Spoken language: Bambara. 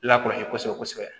Lakɔlɔsi kosɛbɛ kosɛbɛ